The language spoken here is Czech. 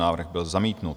Návrh byl zamítnut.